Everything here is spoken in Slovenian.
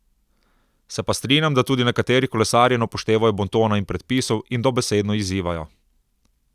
Se pa strinjam, da tudi nekateri kolesarji ne upoštevajo bontona in predpisov in dobesedno izzivajo.